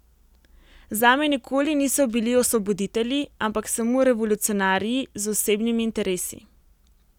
Zame nikoli niso bili osvoboditelji, ampak samo revolucionarji z osebnimi interesi.